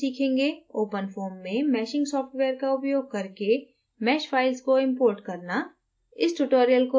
इस tutorial में हम सीखेंगे: openfoam में meshing सॉफ्टवेयर का उपयोग करके mesh फाइल्स को इम्पोर्ट करना